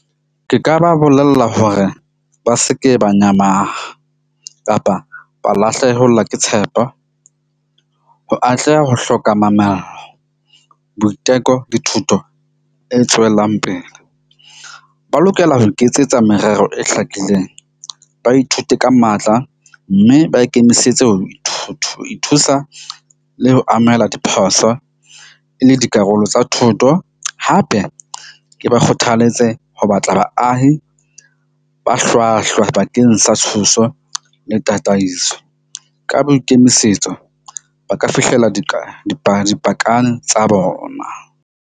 Ke ka ba bolella hore ba seke ba nyamaha kapa ba lahlehelwa ke tshepo. Ho atleha ho hloka mamello, boiteko le thuto e tswelang pele. Ba lokela ho iketsetsa merero e hlakileng, ba ithute ka matla. Mme ba ikemisetse ho ithuta, ho ithusa le ho amohela diphoso e le dikarolo tsa thoto. Hape ke ba kgothaletse ho batla baahi ba hlwahlwa bakeng sa thuso le tataiso, ka boikemisetso ba ka fihlella tsa bona.